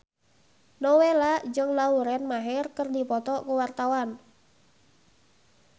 Nowela jeung Lauren Maher keur dipoto ku wartawan